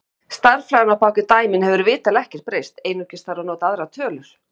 Stærðfræðin á bak við dæmin hefur vitanlega ekkert breyst, einungis þarf að nota aðrar tölur.